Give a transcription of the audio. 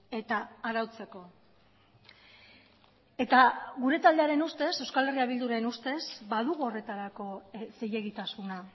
eta arautzeko eta gure taldearen ustez euskal herria bilduren ustez badugu horretarako zilegitasuna